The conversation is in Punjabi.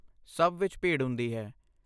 ਸਭ ਵਿੱਚ ਭੀੜ ਹੁੰਦੀ ਹੈ।